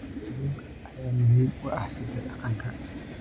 Kalluunka ayaa muhiim u ah hidaha dhaqanka.